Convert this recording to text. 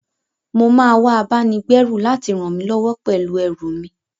Mo máa wá abáni-gbẹ́rù láti ràn mí lọ́wọ́ pèú ẹrù mi.